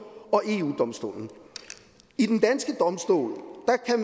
og eu domstolen i den danske domstol